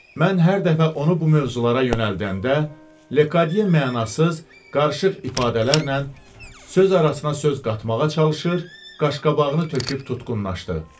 Mən hər dəfə onu bu mövzulara yönəldəndə, Lekadye mənasız, qarışıq ifadələrlə, söz arasına söz qatmağa çalışır, qaş-qabağını töküb tutqunlaşdı.